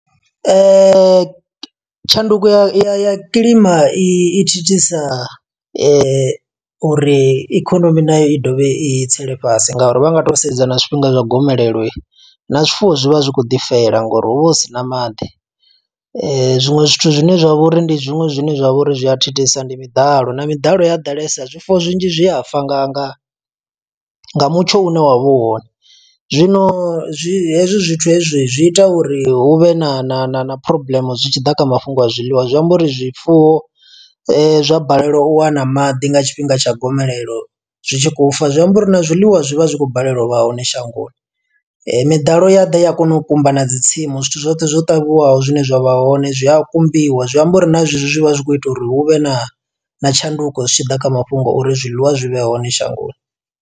Tshanduko ya kilima i thithisa uri ikonomi nayo i ḓovha i tsele fhasi, nga uri vha nga to sedza na zwifhinga zwa gomelelo, na zwifuwo zwi vha zwi kho ḓi fela ngo uri hu vha hu sina maḓi. Zwiṅwe zwithu zwine zwa vha uri ndi zwiṅwe zwine zwa vha uri zwi a thithisa, ndi miḓalo. Na miḓalo ya ḓalesa zwifuwo zwinzhi zwi a fa nga nga mutsho une wa vha u hone. Zwino zwi hezwi zwithu hezwi zwi ita uri hu vhe na na na phurobuḽeme zwi tshi ḓa kha mafhungo a zwiḽiwa, zwi amba uri zwifuwo zwa balelwa u wana maḓi nga tshifhinga tsha gomelelo zwi tshi khou fa, zwi amba uri na zwiḽiwa zwi vha zwi khou balelwa u vha hone shangoni. Miḓalo ya ḓa ya kona u kumba na dzi tsimu zwithu zwoṱhe zwo ṱavhiwaho zwine zwa vha hone, zwi a kumbiwa. Zwi amba uri na zwe zwi, zwi vha zwi khou ita uri hu vhe na na tshanduko zwi tshi ḓa kha mafhungo, uri zwiḽiwa zwi vhe hone shangoni.